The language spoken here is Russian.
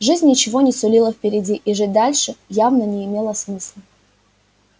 жизнь ничего не сулила впереди и жить дальше явно не имело смысла